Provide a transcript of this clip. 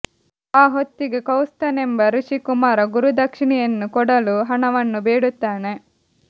ಆ ಹೊತ್ತಿಗೆ ಕೌತ್ಸನೆಂಬ ಋಷಿ ಕುಮಾರ ಗುರುದಕ್ಷಿಣೆಯನ್ನು ಕೊಡಲು ಹಣವನ್ನು ಬೇಡುತ್ತಾನೆ